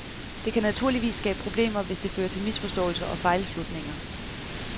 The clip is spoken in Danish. Det kan naturligvis skabe problemer, hvis det fører til misforståelser og fejlslutninger.